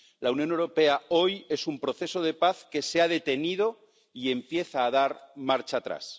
La Unión Europea hoy es un proceso de paz que se ha detenido y empieza a dar marcha atrás.